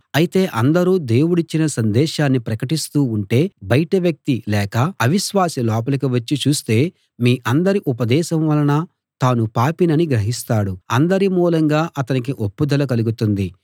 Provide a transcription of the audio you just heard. అయితే అందరూ దేవుడిచ్చిన సందేశాన్ని ప్రకటిస్తూ ఉంటే బయటి వ్యక్తి లేక అవిశ్వాసి లోపలికి వచ్చి చూస్తే మీ అందరి ఉపదేశం వలన తాను పాపినని గ్రహిస్తాడు అందరి మూలంగా అతనికి ఒప్పుదల కలుగుతుంది